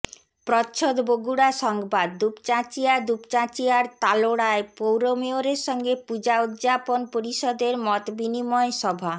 প্রচ্ছদ বগুড়া সংবাদ দুপচাচিঁয়া দুপচাঁচিয়ার তালোড়ায় পৌর মেয়রের সঙ্গে পূজা উদযাপন পরিষদের মতবিনিময় সভা